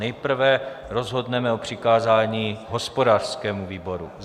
Nejprve rozhodneme o přikázání hospodářskému výboru.